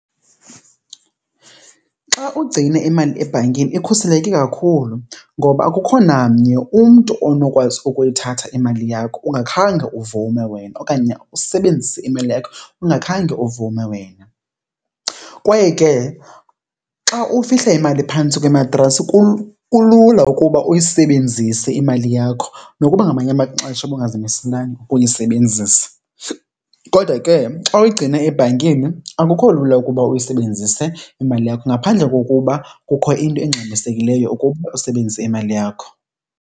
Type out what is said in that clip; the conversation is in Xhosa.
Xa ugcine imali ebhankini ikhuseleke kakhulu ngoba akukho namnye umntu onokwazi ukuyithatha imali yakho ungakhange uvume wena okanye usebenzise imali yakho ungakhange uvume wena. Kwaye ke xa ufihla imali phantsi kwematrasi kulula ukuba uyisebenzise imali yakho nokuba ngamanye amaxesha ubungazimiselanga ukuyisebenzisa. Kodwa ke xa uyigcine ebhankini akukho lula ukuba uyisebenzise imali yakho ngaphandle kokuba kukho into engxamisekileyo ukuba usebenzise imali yakho.